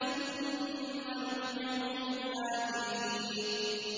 ثُمَّ نُتْبِعُهُمُ الْآخِرِينَ